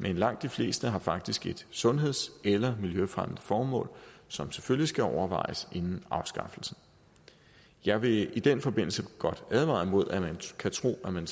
men langt de fleste har faktisk et sundheds eller miljøfremmende formål som selvfølgelig skal overvejes inden afskaffelsen jeg vil i den forbindelse godt advare imod at man kan tro at man